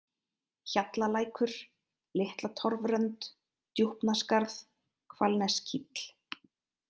Hjallalækur, Litlatorfrönd, Djúpaskarð, Hvalnesskíll